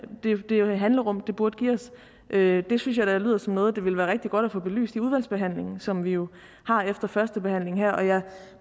handlerum det burde give os det synes jeg da lyder som noget det ville være rigtig godt at få belyst i udvalgsbehandlingen som vi jo har efter førstebehandlingen her og jeg